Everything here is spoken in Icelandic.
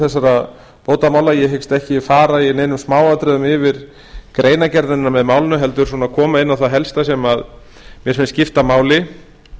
þessara bótamála ég hyggst ekki fara í neinum smáatriðum yfir greinargerðina með málinu heldur koma inn á það helsta sem mér finnst skipta máli